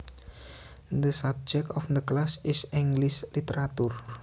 The subject of the class is English literature